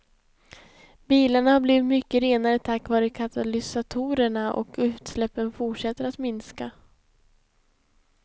Bilarna har blivit mycket renare tack vare katalysatorerna, och utsläppen fortsätter att minska.